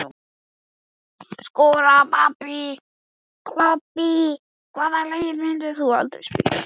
Skora og klobba Hvaða liði myndir þú aldrei spila með?